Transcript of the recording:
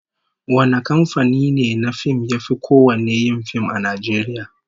Wane kamfani ne na fim yafi kowanne yin fim a Najeriya?